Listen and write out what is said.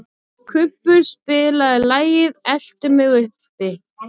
Kubbur, spilaðu lagið „Eltu mig uppi“.